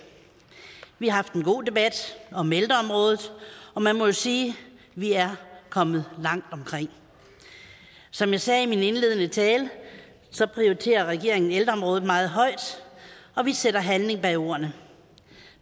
vi har haft en god debat om ældreområdet og man må jo sige at vi er kommet langt omkring som jeg sagde i min indledende tale prioriterer regeringen ældreområdet meget højt og vi sætter handling bag ordene